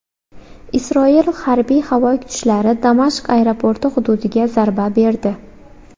Isroil harbiy-havo kuchalari Damashq aeroporti hududiga zarba berdi.